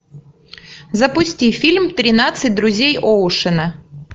запусти фильм тринадцать друзей оушена